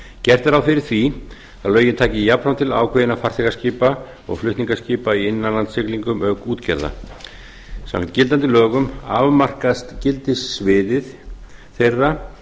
gert er ráð fyrir því að lögin taki jafnframt til ákveðinna farþegaskipa og flutningaskipa í innanlandssiglingum auk útgerða samkvæmt gildandi lögum afmarkast gildissvið þeirra